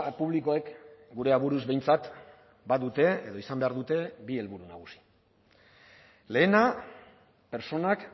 publikoek gure aburuz behintzat badute edo izan behar dute bi helburu nagusi lehena pertsonak